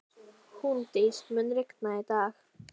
Húndís, mun rigna í dag?